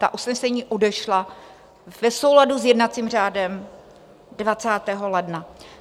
Ta usnesení odešla v souladu s jednacím řádem 20. ledna.